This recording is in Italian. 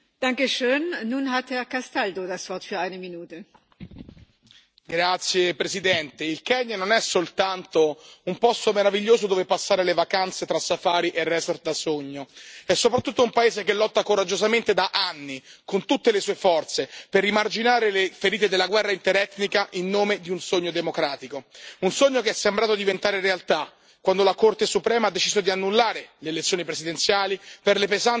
Signora Presidente, onorevoli colleghi, il Kenya non è soltanto un posto meraviglioso, dove passare le vacanze tra safari e resort da sogno, è soprattutto un paese che lotta coraggiosamente da anni, con tutte le sue forze, per rimarginare le ferite della guerra interetnica in nome di un sogno democratico, un sogno che è sembrato diventare realtà quando la Corte suprema ha deciso di annullare le elezioni presidenziali per le pesanti irregolarità ravvisate.